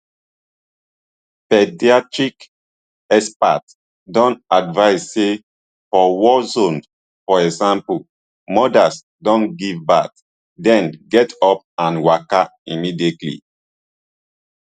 paediatric experts don advise say for war zones for example mothers don give birth den get up and waka immediately